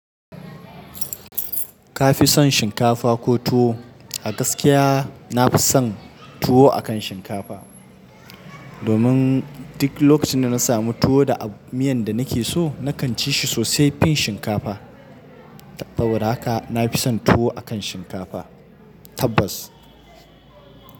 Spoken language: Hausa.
Ka fi son shinkafa ko tuwo? A gaskiya na fi son tuwo akan shinkafa. Domin duk lokacin da na samu tuwo da miyan da nake so, na kan ci shi sosai fin shinkafa. Saboda haka na fi son tuwo akan shinkafa. Tabbas.